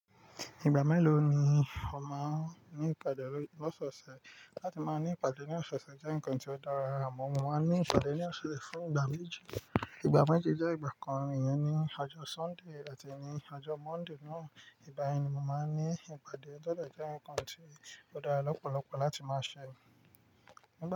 Ìgbà mélòó ni ó máa ń ní ìpàdé lọ́sọ̀ọ̀sẹ̀? Láti máa ní ìpàdé ní ọ̀ṣọ̀ọ̀ṣẹ̀ jẹ́ nǹkan tó dára rárá. Mo máa ń ní ìpàdé ní ọ̀ṣọ̀ọ̀ṣẹ̀ fún ìgbà méjì. Ìgbà méjì jẹ́ ìgbà kan, ìyẹn ni àjọ Sọ́ńdè àti ní àjọ Mọ́ndè náà. Ìgbà yẹn ni mo máa ń ní ìpàdé. Tó dẹ̀ jẹ́ nǹkan tó dára lọ́pọ̀lọpọ̀ láti máa ṣẹ.